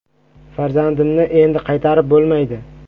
“Farzandimni endi qaytarib bo‘lmaydi.